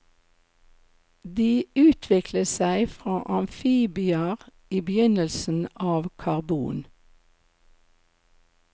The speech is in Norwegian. De utviklet seg fra amfibier i begynnelsen av karbon.